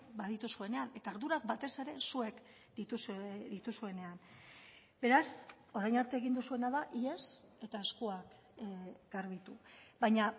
badituzuenean eta ardurak batez ere zuek dituzuenean beraz orain arte egin duzuena da ihes eta eskuak garbitu baina